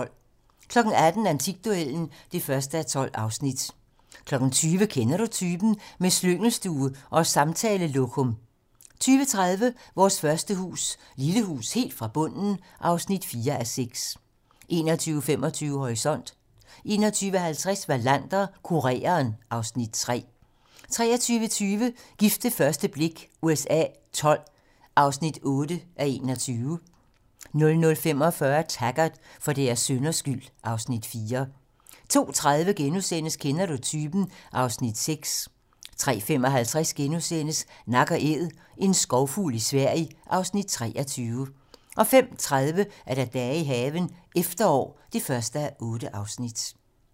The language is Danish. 18:00: Antikduellen (1:12) 20:00: Kender Du Typen? - Med slyngelstue og samtalelokum 20:30: Vores første hus - Lille hus helt fra bunden (4:6) 21:25: Horisont 21:50: Wallander: Kureren (Afs. 3) 23:20: Gift ved første blik USA XII (8:21) 00:45: Taggart: For deres synders skyld (Afs. 4) 02:30: Kender du typen? (Afs. 6)* 03:55: Nak & Æd - en skovfugl i Sverige (Afs. 23)* 05:30: Dage i haven - efterår (1:8)